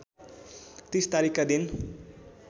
३० तारिखका दिन